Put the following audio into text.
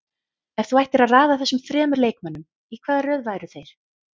Ef þú ættir að raða þessum þremur leikmönnum, í hvaða röð væru þeir?